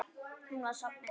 Hún var sofnuð.